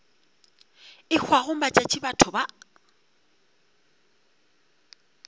e hwago matšatši batho ba